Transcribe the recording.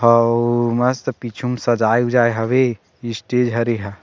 अउ मस्त पीछू मे सजाये ऊजाये हवे स्टेज हरे हा --